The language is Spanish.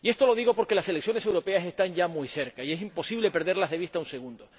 Esto lo digo porque las elecciones europeas están ya muy cerca, y es imposible perderlas de vista un segundo.